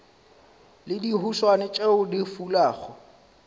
le dihuswane tšeo di fulago